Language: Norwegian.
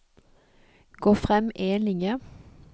Gå frem én linje